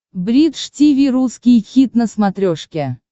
бридж тиви русский хит на смотрешке